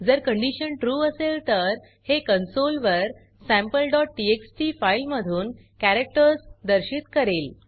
जर condition true असेल तर हे कॉन्सोल वर sampleटीएक्सटी फाइल मधून कॅरेक्टर्स दर्शित करेल